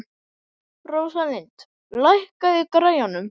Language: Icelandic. Rósalind, lækkaðu í græjunum.